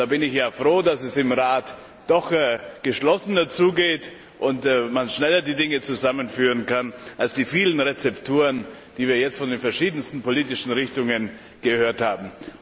Da bin ich ja froh, dass es im Rat doch geschlossener zugeht und man die Dinge schneller zusammenführen kann, als die vielen Rezepturen, die wir jetzt von den verschiedensten politischen Richtungen gehört haben.